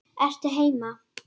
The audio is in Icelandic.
Ertu heima?